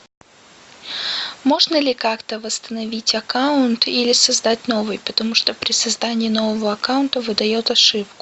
можно ли как то восстановить аккаунт или создать новый потому что при создании нового аккаунта выдает ошибку